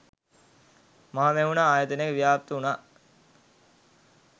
මහමෙවුනා ආයතනය ව්‍යාප්ත වුණා.